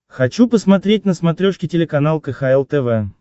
хочу посмотреть на смотрешке телеканал кхл тв